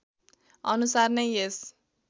अनुसार नै यस